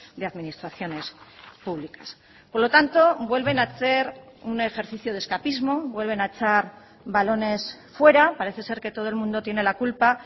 de administraciones públicas por lo tanto vuelven a hacer un ejercicio de escapismo vuelven a echar balones fuera parece ser que todo el mundo tiene la culpa